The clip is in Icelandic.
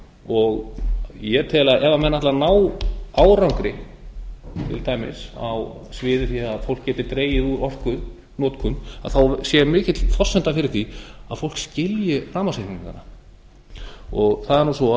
og ég tel að ef menn ætla að ná árangri til dæmis á því sviði að fólk geti dregið úr orkunotkun sé mikil forsenda fyrir því að fólk skilji rafmagnsreikningana það er nú svo